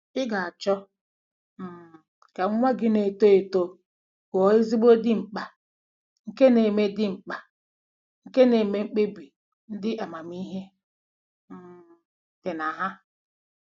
Ị ga-achọ um ka nwa gị na-eto eto ghọọ ezigbo dimkpa nke na-eme dimkpa nke na-eme mkpebi ndị amamihe um dị na ha.